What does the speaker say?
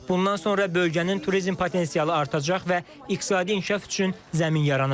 Bundan sonra bölgənin turizm potensialı artacaq və iqtisadi inkişaf üçün zəmin yaranacaq.